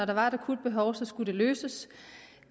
der var et akut behov skulle det løses